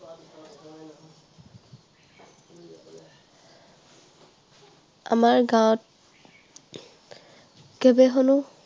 আমাৰ গাঁৱত অধিৱেশনো